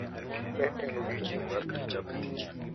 Ne en odiechieng` mar Tich Abich .